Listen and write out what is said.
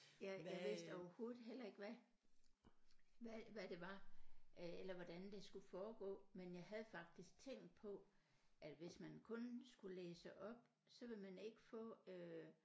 Jeg jeg vidste overhovedet heller ikke hvad hvad hvad det var øh eller hvordan det skulle foregå men jeg havde faktisk tænkt på at hvis man kun skulle læse op så ville man ikke få øh